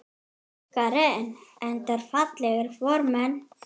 Karen: Enda fallegir formenn?